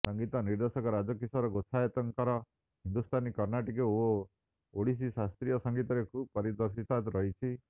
ସଂଗୀତ ନିର୍ଦ୍ଦେଶକ ରାଜକିଶୋର ଗୋଚ୍ଛାୟତଙ୍କର ହିନ୍ଦୁସ୍ଥାନୀ କର୍ଣ୍ଣାଟକୀ ଓ ଓଡ଼ିଶୀ ଶାସ୍ତ୍ରୀୟ ସଂଗୀତରେ ଖୁବ ପାରଦର୍ଶିତା ରହିଛି